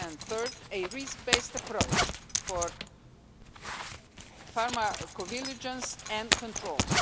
and third, a risk-based approach for pharmacovigilance and controls.